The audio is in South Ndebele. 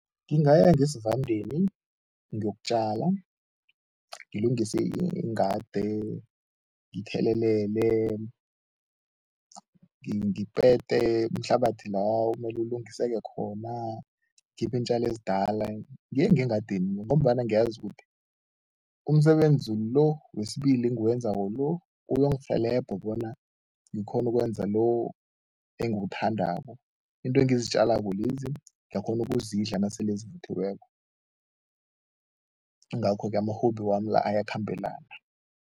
Ngingaya ngesivandeni ngiyokutjala, ngilungise ingade, ngithelelele ngipete, umhlabathi la omele ulungiseke khona, ngikhiphe iintjalo ezidala, ngiye ngengadini ngombana ngiyazi ukuthi umsebenzi lo wesibili engiwenzako lo, uyongirhelebha bona ngikghone ukwenza lo engiwuthandako. Into engizitjalako lezi ngiyakghona ukuzidla nasele zivuthiweko, ingakho-ke ama-hobby wami la ayakhambelana.